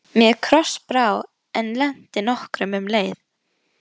Mér krossbrá, en létti nokkuð um leið.